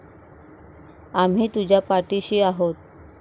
आम्ही तुझ्या पाठीशी आहोत.